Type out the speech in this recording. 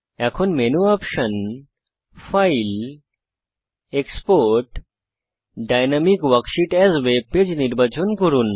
এখন menu option file export dynamic worksheet as webpage নির্বাচন করুন